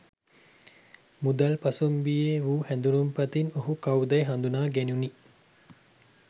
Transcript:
මුදල් පසුම්බියේ වූ හැඳුනුම්පතින් ඔහු කවුදැයි හඳුනා ගැනුණි.